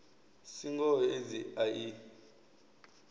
si ngoho aids a i